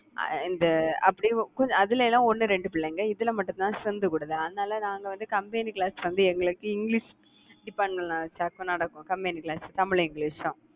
அஹ் இந்த அப்படி அதுல எல்லாம் ஒண்ணு ரெண்டு பிள்ளைங்க இதுல மட்டும்தான் strength கூடுது, அதனால நாங்க வந்து combined class வந்து, எங்களுக்கு இங்கிலிஷ் department ல தா நடக்கும் combined class தமிழ், இங்கிலிஷ் தான்